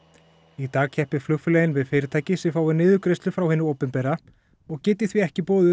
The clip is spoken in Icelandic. í dag keppi flugfélögin við fyrirtæki sem fái niðurgreiðslu frá hinu opinbera og geti því ekki boðið